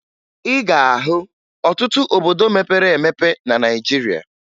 Ị ga-ahụ ọtụtụ obodo mepere emepe na Naịjirịa